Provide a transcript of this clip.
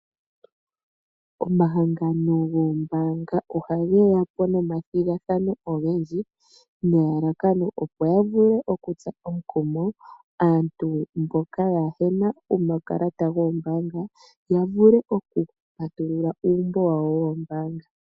Omahangano goombaanga ohage ya po nomathigathano ogendji nelalakano opo ya vule okutsa omukumo aantu mboka kaayena omakalata goombaanga ya vule okupatulula uumbo wawo woombaanga.